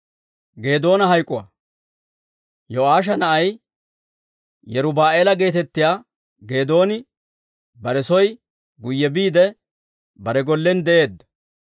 Yo'aasha na'ay, Yeruba'aala geetettiyaa Geedooni bare soo guyye biide, bare gollen de'eedda.